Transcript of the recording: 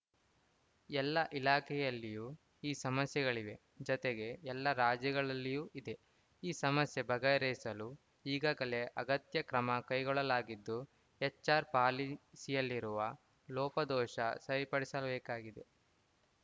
ಎಲ್ಲ ಇಲಾಖೆಯಲ್ಲಿಯೂ ಈ ಸಮಸ್ಯೆಗಳಿವೆ ಜತೆಗೆ ಎಲ್ಲಾ ರಾಜ್ಯಗಳಲ್ಲಿಯೂ ಇದೆ ಈ ಸಮಸ್ಯೆ ಬಗೆಹರಿಸಲು ಈಗಾಗಲೇ ಅಗತ್ಯ ಕ್ರಮ ಕೈಗೊಳ್ಳಲಾಗಿದ್ದು ಎಚ್‌ಆರ್‌ ಪಾಲಿಸಿಯಲ್ಲಿರುವ ಲೋಪದೋಷ ಸರಿಪಡಿಸಬೇಕಾಗಿದೆ